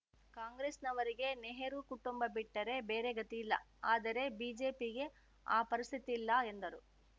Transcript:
ಕಾಂಗ್ರೆಸ್‌ನವರಿಗೆ ನೆಹರು ಕುಟುಂಬ ಬಿಟ್ಟರೆ ಬೇರೆ ಗತಿಯಿಲ್ಲ ಆದರೆ ಬಿಜೆಪಿಗೆ ಆ ಪರಿಸ್ಥಿತಿಯಿಲ್ಲ ಎಂದರು